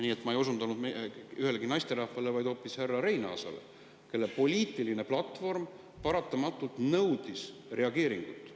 Nii et ma ei osutanud ühelegi naisterahvale, vaid hoopis härra Reinaasale, kelle poliitiline platvorm paratamatult nõudis reageeringut.